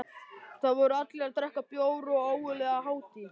Þar voru allir að drekka bjór og ógurleg hátíð.